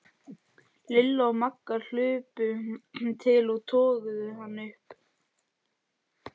Lilla og Magga hlupu til og toguðu hana upp.